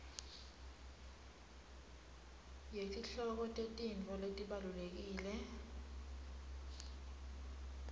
yetihloko tetintfo letibalulekile